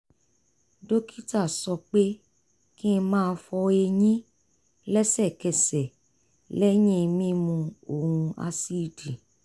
dókítà sọ pé kí n má fọ eyín lẹ́sẹ̀kẹsẹ̀ lẹ́yìn mímu ohun ásíìdì